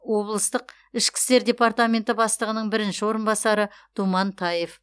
облыстық ішкі істер департаменті бастығының бірінші орынбасары думан таев